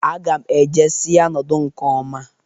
Aga m e je si ya nọdụ nke ọma.